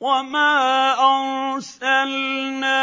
وَمَا أَرْسَلْنَا